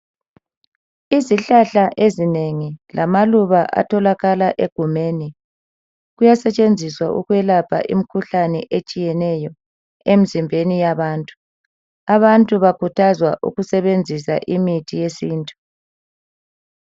Izihlahla ezinengi lamaluba atholakala egumeni kuyasetshenziswa ukwelapha imkhuhlane etshiyeneyo emzimbeni yabantu. Abantu bakhuthazwa ukusebenzisa imithi yesintu.